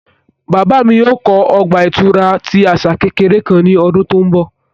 Baba mi yoo kọ ọgba-ìturá ti asa kekere kan ni ọdun to nbọ